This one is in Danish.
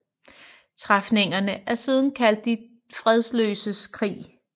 Træfningerne er siden kaldt De fredløses krig